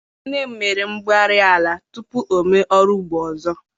Nne m mere mbugharị ala tupu o mee ọrụ ugbo ọzọ.